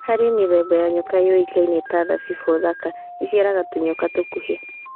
Harĩ mĩthemba ya nyoka yũĩkaine ta Thabibu Thaka, iciaraga tũnyoka tũkuhĩ.